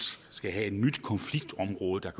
skal have et nyt konfliktområde der